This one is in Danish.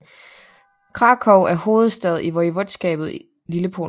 Kraków er hovedstad i voivodskabet Lillepolen